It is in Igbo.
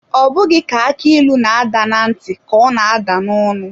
Ọ bụghị ka aki ịlụ na-ada na ntị ka ọ na-atọ n'ọnụ.